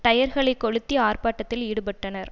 டயர்களைக் கொளுத்தி ஆர்ப்பாட்டத்தில் ஈடுபட்டனர்